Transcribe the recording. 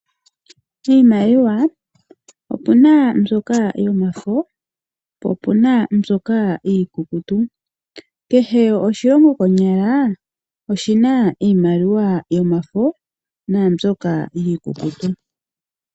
Iimaliwa opu na mbyoka yomafo po opu na mbyoka iikukutu. Kehe oshilongo kehe konyala oshi na iimaliwa yomafo nambyoka iikukutu.